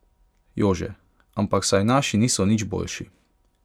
Jože: 'Ampak saj naši niso nič boljši.